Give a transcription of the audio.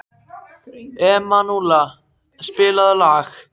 Emanúela, spilaðu lag.